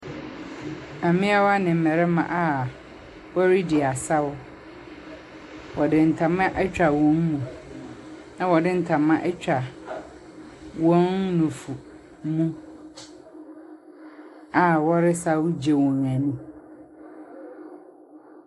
Mmaayewa ne mmarima a wɔredi asaw, wɔde ntama atwa wɔn mu, na wɔde ntama atwa wɔn nnufo mu a wɔresaw gye wɔn ani.